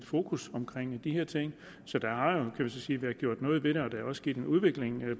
fokus på de her ting så der har jo kan man sige været gjort noget ved og sket en udvikling i